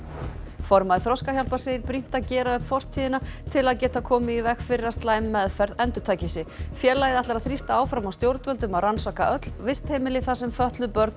formaður Þroskahjálpar segir brýnt að gera upp fortíðina til að geta komið í veg fyrir að slæm meðferð endurtaki sig í félagið ætlar að þrýsta áfram á stjórnvöld um að rannsaka öll vistheimili þar sem fötluð börn